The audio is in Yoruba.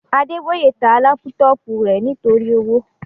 Adeboye ta lápútọ̀pù rẹ̀ nítorí owó